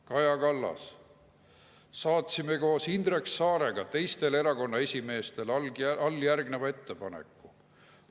" Kaja Kallas: "Saatsime koos Indrek Saarega teistele erakonna esimeestele alljärgneva ettepaneku.